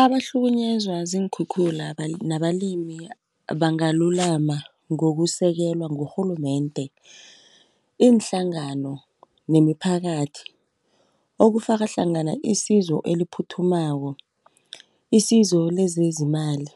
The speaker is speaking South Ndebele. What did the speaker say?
Abahlukunyezwa ziinkhukhula nabalimi bangalulama sokusekelwa ngurhulumende, iinhlangano nemiphakatheni. Okufaka hlangana isizo eliphuthumako, isizo lezinezimali